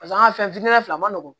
Paseke an ka fɛn fitini fila ma nɔgɔn